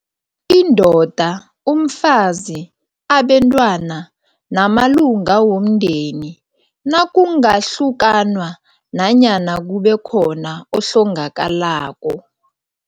indoda, umfazi, abentwana namalunga womndeni nakungahlukanwa nanyana kube khona ohlongakalako.